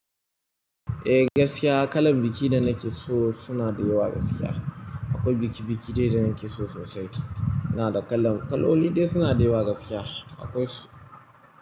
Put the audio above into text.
Eh gaskiya kalan biki da nake so suna da yawa gaskiya. Akwai biki biki dai da nake so sosai. Ina da kalan, kaloli dai suna da yawa gaskiya. Akwai su.